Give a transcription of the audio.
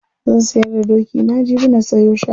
Zan sayar da dokina jibi na sayo shanu.